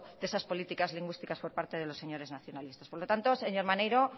de esas políticas lingüísticas por parte de los señores nacionalistas por lo tanto señor maneiro